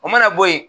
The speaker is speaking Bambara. O mana bɔ yen